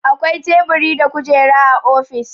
Akwai Teburi da Kujera a ofis.